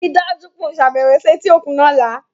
Rii daju pe o ṣabẹwo si eti okun ni ọla